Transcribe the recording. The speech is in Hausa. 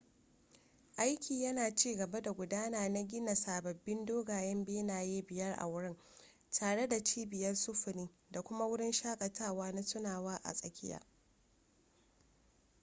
aiki yana cigaba da gudana na gina sababbin dogayen benaye biyar a wurin tare da cibiyar sufuri da kuma wurin shaƙatawa na tunawa a tsakiya